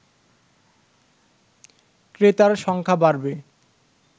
ক্রেতার সংখ্যা বাড়বে